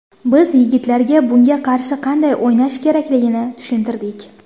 Biz yigitlarga bunga qarshi qanday o‘ynash kerakligini tushuntirdik.